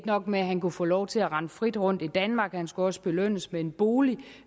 nok med at han kunne få lov til at rende frit rundt i danmark han skulle også belønnes med en bolig